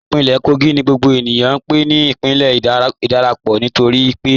Ìpínlẹ̀ Kógì ni gbogbo ènìyàn n pè ní ìpínlẹ̀ ìdárápọ́ nítorí pé ìbí tí awọn òdò ti dárápọ́ pọ.